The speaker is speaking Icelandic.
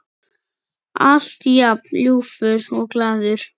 Alltaf jafn ljúfur og glaður.